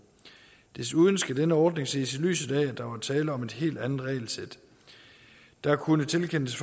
desuden skal denne ordning ses i lyset af at der var tale om et helt andet regelsæt der kunne tilkendes